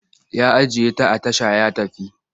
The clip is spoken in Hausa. Ya ajiye ta a tasha ya tafi.